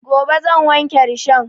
Gobe zan wanke rishon